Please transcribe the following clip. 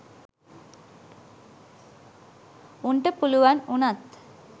උන්ට පුළුවන් වුනත්.